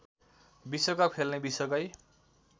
विश्वकप खेल्ने विश्वकै